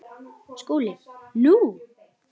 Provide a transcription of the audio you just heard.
SKÚLI: Nú?